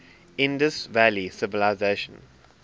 indus valley civilisation